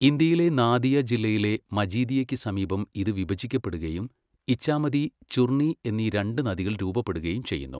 ഇന്ത്യയിലെ നാദിയ ജില്ലയിലെ മജീദിയയ്ക്ക് സമീപം ഇത് വിഭജിക്കപ്പെടുകയും ഇഛാമതി, ചുർണി എന്നീ രണ്ട് നദികൾ രൂപപ്പെടുകയും ചെയ്യുന്നു.